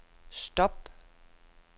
stop